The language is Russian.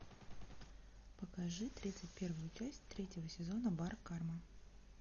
покажи тридцать первую часть третьего сезона бар карма